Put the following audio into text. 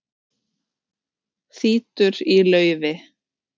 Þýtur í laufi